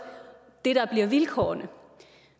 det der bliver vilkårene